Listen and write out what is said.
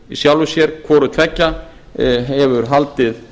í sjálfu sér hvorutveggja hefur haldið